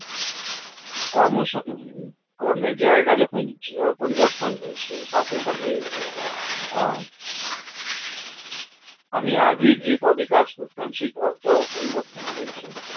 কর্মের জায়গা যখন পরিবর্তন হয়েছে সাথে সাথে আ আমি আগে যে পদে কাজ করতাম সেই পদটাও পরিবর্তন হয়েছে